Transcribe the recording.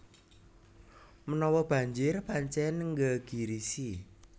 Menawa banjir pancen nggegirisi